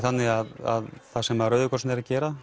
þannig það sem Rauði krossinn er að gera